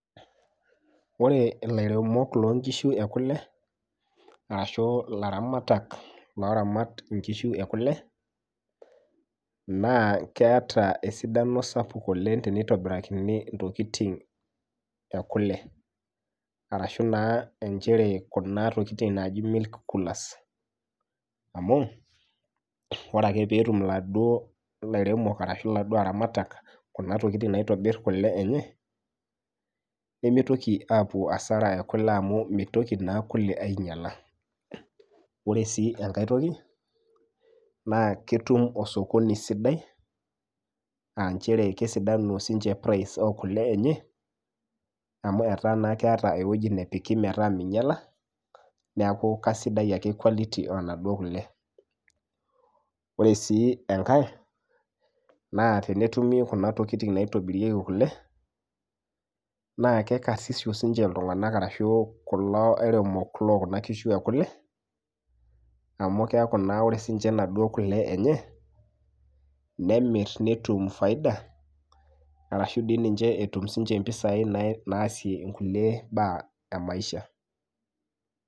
Ore ilairemok lonkishu ekule arashu ilaramatak loramat inkishu ekule naa keeta esidano sapuk oleng teneitobirakini intokiting ekule arashu naa enchere kuna tokiting naaji milk coolers amu ore ake peetum iladuo airemok arashu iladuo aramatak kuna tokitin naitobirr kule enye nemitoki apuo asara ekule amu meitoki naa kule ainyiala ore sii enkae toki naa ketum osokoni sidai anchere kesidanu sinche price okule enye amu etaa naa keeta ewueji nepiki metaa meinyiala neaku kasidai ake quality onaduo kule ore sii enkae naa tenetumi kuna tokiting naitobirieki kule naa kekarsisu sinche iltung'anak arashu kulo airemok lokuna kishu ekule amu keeku naa ore sinche inaduo kule enye nemirr netum faida arashu dii ninche etum sinche impisai nae naasie inkulie baa emaisha.